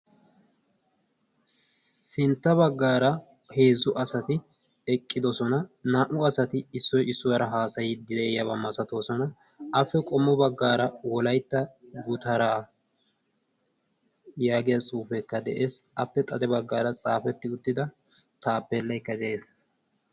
sintta baggaara heezzu asati eqqidosona naa''u asati issoy issuwaara haasayi de'iyaabaa masatoosona appe qommo baggaara wolaytta gutaraa yaagiya suufekka de'ees appe xade baggaara xaafetti uttida taappeellaykka de'ees